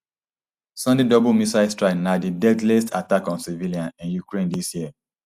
sunday double missile strike na di deadliest attack on civilians in ukraine dis year